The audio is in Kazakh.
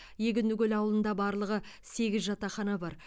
егіндікөл ауылында барлығы сегіз жатақхана бар